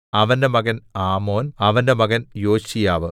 അവന്റെ മകൻ ആമോൻ അവന്റെ മകൻ യോശീയാവ്